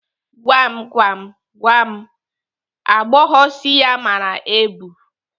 Gwam gwam, gwa m agbọghọ isi ya mara ebu?